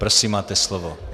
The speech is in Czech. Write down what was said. Prosím, máte slovo.